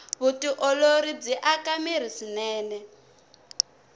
vutiolori byi aka mirhi swinene